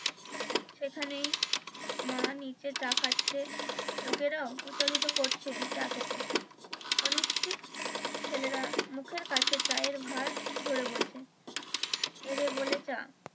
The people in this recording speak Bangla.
সেখানেই মা নিচে চা খাচ্ছে লোকেরাও প্রচারিত করছে চা খেতে। অনিচ্ছিক ছেলেরা মুখের কাছে চায়ের ভার ধরে বলছে এরে বলে চা।